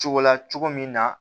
Cogo la cogo min na